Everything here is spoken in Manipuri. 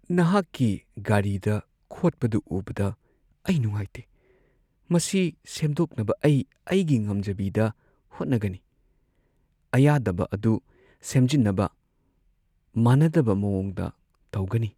ꯅꯍꯥꯛꯀꯤ ꯒꯥꯔꯤꯗ ꯈꯣꯠꯄꯗꯨ ꯎꯕꯗ ꯑꯩ ꯅꯨꯡꯉꯥꯏꯇꯦ꯫ ꯃꯁꯤ ꯁꯦꯝꯗꯣꯛꯅꯕ ꯑꯩ ꯑꯩꯒꯤ ꯉꯝꯖꯕꯤꯗ ꯍꯣꯠꯅꯒꯅꯤ ꯫ ꯑꯌꯥꯗꯕ ꯑꯗꯨ ꯁꯦꯝꯖꯤꯟꯅꯕ ꯃꯥꯟꯅꯗꯕ ꯃꯑꯣꯡꯗ ꯇꯧꯒꯅꯤ ꯫